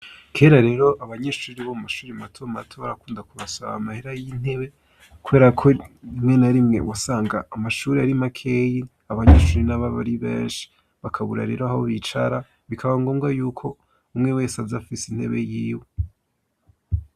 Kera rero abanyeshuri bo mashuri mato mato barakunda kubasaba amahera y'intebe. Kubera ko rimwe na rimwe wasanga amashuri ari makeyi abanyeshuri n'ababari benshi bakabura rero aho bicara bikaba ngombwa y'uko umwe wese aze afise intebe yiwe.